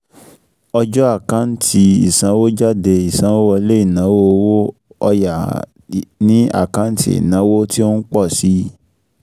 Ọjọ́ àkántì ìsanwójáde ìsanwówọlé ìnáwó owó ọ̀ya ni àkáǹtì ìnáwó tí ó ń pọ̀ si